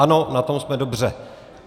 Ano, na tom jsme dobře.